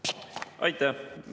Aitäh!